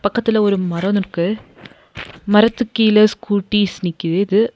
இக்கத்துல ஒரு மரோ நிற்க்கு மரத்துக்கு கீழ ஸ்கூட்டிஸ் நிக்கிதுஇது.